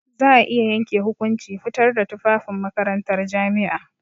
Za a iya yanke hukunci fitar da tufafin makarantar jami'a.